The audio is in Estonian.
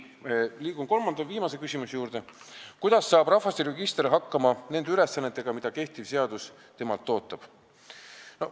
Liigun kolmanda ja viimase küsimuse juurde: "Kuidas saab rahvastikuregister hakkama nende ülesannetega, mida kehtiv seadus temalt ootab?